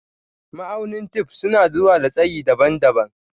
Ma'aunin tef suna zuwa da tsayi daban-daban.